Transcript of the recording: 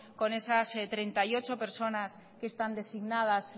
con esas treinta y ocho personas que están designadas